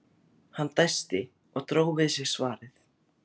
Hann dæsti og dró við sig svarið.